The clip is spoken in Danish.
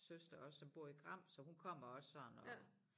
Søster også som bor i Gram så hun kommer også sådan og